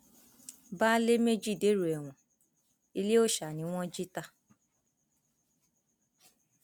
baálé méjì dèrò ẹwọn ilé òòsa ni wọn jí ta